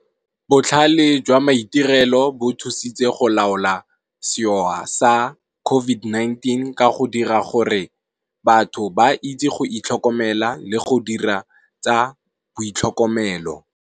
Botlhale jwa maitirelo bo thusitse go laola setlhopha sa COVID-19 ka go dira gore batho ba itse go itlhokomela le go dira tsa bo boitlhokomelo.